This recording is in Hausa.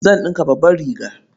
Zan ɗinka babbar riga.